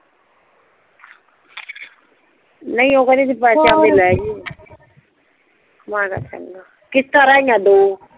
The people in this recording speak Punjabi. ਨਹੀਂ ਓ ਕਿਹੰਦੀ ਸੀ ਬੀਕੇ ਤੇ ਆਨ ਕੇ ਲੇਜੀ ਕਿਸ਼ਤਾ ਰਿਹ ਗਈਆ ਦੋ